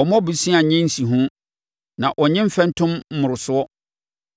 Ɔmmɔ bosea nye nsiho na ɔnnye mfɛntom mmorosoɔ.